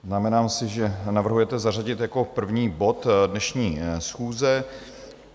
Znamenám si, že navrhujete zařadit jako první bod dnešní schůze.